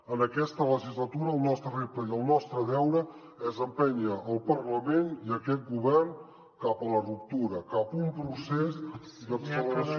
en aquesta legislatura el nostre repte i el nostre deure és empènyer el parlament i aquest govern cap a la ruptura cap a un procés d’acceleració